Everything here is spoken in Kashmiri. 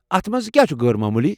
اتھ مَنٛز کیٛاہ چھُ غٲر معموٗلی؟